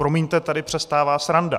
Promiňte, tady přestává sranda.